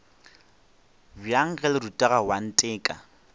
bjang ge le rutega oanteka